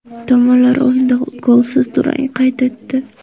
Tomonlar o‘yinda golsiz durang qayd etdi.